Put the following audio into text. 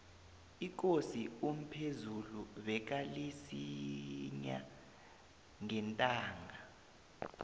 ikosi umphezulu bekalisinya ngentanga